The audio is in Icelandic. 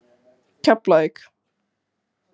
Keflavík